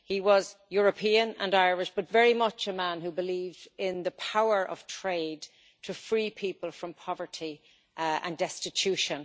He was European and Irish, but very much a man who believed in the power of trade to free people from poverty and destitution.